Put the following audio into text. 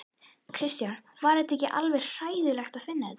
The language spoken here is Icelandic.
Kristján: Var þetta ekki alveg hræðilegt að finna þetta?